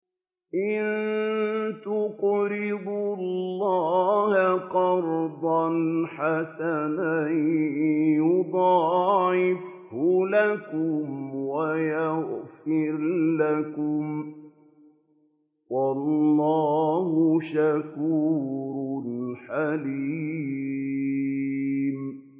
إِن تُقْرِضُوا اللَّهَ قَرْضًا حَسَنًا يُضَاعِفْهُ لَكُمْ وَيَغْفِرْ لَكُمْ ۚ وَاللَّهُ شَكُورٌ حَلِيمٌ